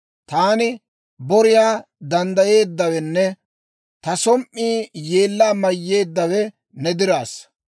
Taani boriyaa danddayeeddawenne ta som"ii yeellaa mayyeeddawe ne diraassa.